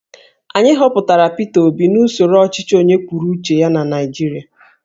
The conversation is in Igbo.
Anyị họpụtara Peter Obi n'usoro ọchịchị onye kwuru uche ya na Naijiria